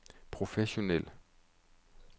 professionel